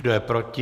Kdo je proti?